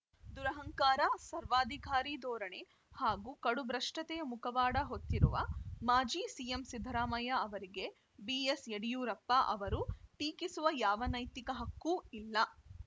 ದುರಹಂಕಾರ ಸರ್ವಾಧಿಕಾರಿ ಧೋರಣೆ ಹಾಗೂ ಕಡುಭ್ರಷ್ಟತೆಯ ಮುಖವಾಡ ಹೊತ್ತಿರುವ ಮಾಜಿ ಸಿಎಂ ಸಿದ್ದರಾಮಯ್ಯ ಅವರಿಗೆ ಬಿಎಸ್‌ಯಡಿಯೂರಪ್ಪ ಅವರನ್ನು ಟೀಕಿಸುವ ಯಾವ ನೈತಿಕ ಹಕ್ಕೂ ಇಲ್ಲ